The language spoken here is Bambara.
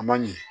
A ma ɲɛ